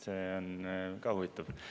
See on ka huvitav.